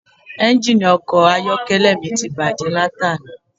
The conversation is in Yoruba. Engini ọkọ̀ ayọ́kẹ́lẹ́ mi ti bàjé láti àná